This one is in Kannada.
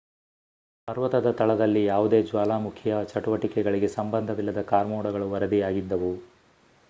ಪರ್ವತದ ತಳದಲ್ಲಿ ಯಾವುದೇ ಜ್ವಾಲಾಮುಖಿಯ ಚಟುವಟಿಕೆಗಳಿಗೆ ಸಂಬಂಧವಿಲ್ಲದ ಕಾರ್ಮೋಡಗಳು ವರದಿಯಾಗಿದ್ದವು